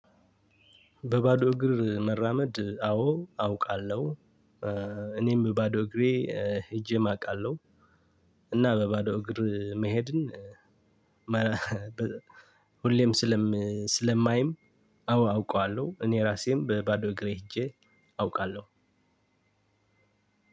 በባዶ እግር መራመድ አዎ አውቃለው። እኔም በባዶ እግሬ ሄጄም አውቃለው። እና በባዶ እግር መሄድን። ሁሌም ስለም ስለማይም አዎ አውቀዋለው። እኔ ራሴም በባዶ እግሬ ሂጄ አውቃለው።